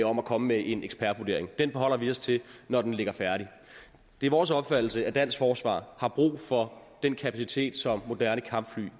om at komme med en ekspertvurdering den forholder vi os til når den ligger færdig det er vores opfattelse at dansk forsvar har brug for den kapacitet som moderne kampfly